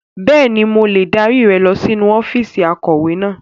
Bẹ́ẹ̀ni, mo lè dárí rẹ lọ sínú ọ́fíìsì akọ̀wé náà.